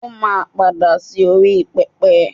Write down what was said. o ma pada sí orí pẹpẹ